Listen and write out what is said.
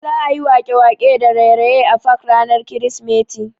Za'a yi waƙe-waƙe da raye-raye a fak ranar krismeti.